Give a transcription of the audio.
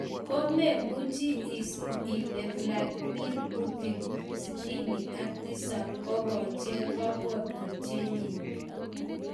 Komemuche isir ile Vladimir Putin,67, kokacheng kapwatitengyn